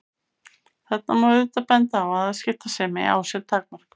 Þarna má auðvitað benda á að afskiptasemi á sér takmörk.